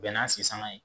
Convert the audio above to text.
Bɛn n'a sisanga ye